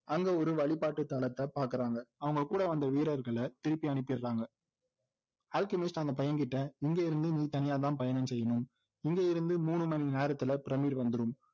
அங்க ஒரு வழிபாட்டு தளத்தை பாக்குறாங்க அவங்க கூட வந்த வீரர்களை திருப்பி அனுப்பீர்றாங்க அல்கெமிஸ்ட் அந்த பையங்கிட்ட இங்க இருந்து நீ தனியாதான் பயணம் செய்யணும் இங்க இருந்து மூணு மணி நேரத்துல பிரமிடு வந்துரும்